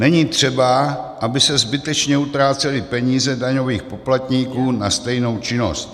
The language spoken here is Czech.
Není třeba, aby se zbytečně utrácely peníze daňových poplatníků na stejnou činnost.